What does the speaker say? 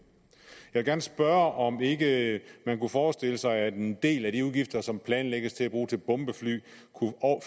jeg vil gerne spørge om ikke man kunne forestille sig at en del af de udgifter som planlægges at blive brugt til bombefly kunne